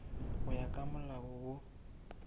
go ya ka molao wo